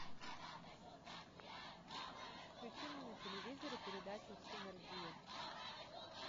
включи мне на телевизоре передачу синергия